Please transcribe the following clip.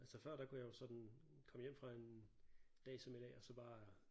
Altså før der kunne jeg jo sådan komme hjem fra en dag som i dag og så bare